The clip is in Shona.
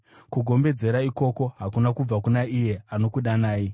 Kugombedzera ikoko hakuna kubva kuna iye anokudanai.